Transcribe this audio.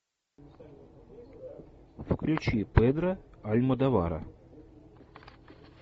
включи педро альмодовара